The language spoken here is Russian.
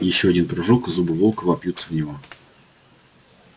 ещё один прыжок и зубы волка вопьются в него